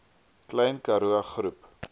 klein karoo groep